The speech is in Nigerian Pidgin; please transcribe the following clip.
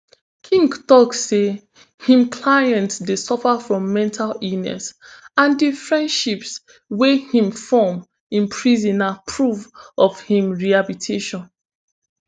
king tok say im client dey suffer from mental illness and di friendships wey im form in prison na proof of im rehabilitation